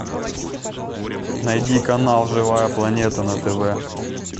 найди канал живая планета на тв